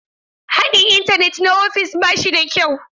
Haɗin Intanet na ofis ba shi da kyau.